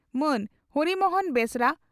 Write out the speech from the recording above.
ᱢᱟᱱ ᱦᱚᱨᱤ ᱢᱚᱦᱚᱱ ᱵᱮᱥᱨᱟ